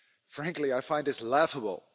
Frankly, I find this laughable.